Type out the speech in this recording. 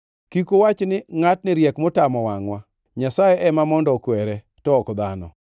Kik uwach ni, ‘Ngʼatni riek motamo wangʼwa, Nyasaye ema mondo okwere, to ok dhano!’